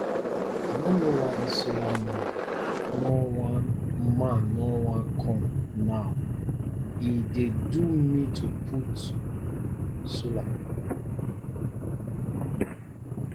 i no know why dis solar man no wan man no wan come now e dey do me to put solar